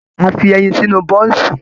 A fi ẹyin sínú bọ́ọ̀ńsì